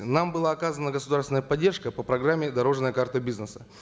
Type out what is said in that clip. нам была оказана государственная поддержка по программе дорожная карта бизнеса